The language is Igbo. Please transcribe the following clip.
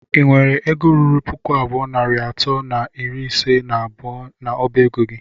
ị nwere egọ rụrụ pụkụ abụọ nari atọ na ịrị ise na abụọ na ọba egọ gị?